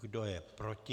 Kdo je proti?